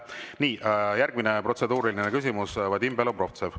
Nii, järgmine protseduuriline küsimus, Vadim Belobrovtsev.